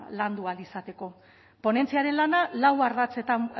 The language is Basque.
landu ahal izateko ponentziaren lana lau ardatzetan